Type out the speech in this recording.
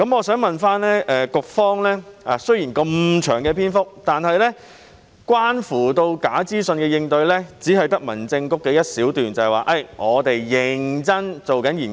雖然主體答覆的篇幅很長，但關乎假資訊的應對只有提及民政事務局的一小段，即該局正在認真研究。